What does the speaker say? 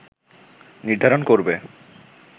নির্ধারণ করবে